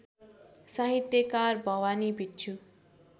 साहित्यकार भवानी भिक्षु